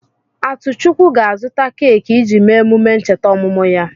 Atuchukwu ga-azụta keki iji mee emume ncheta ọmụmụ ya.